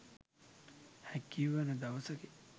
හැකිවන දවසකි